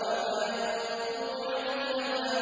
وَمَا يَنطِقُ عَنِ الْهَوَىٰ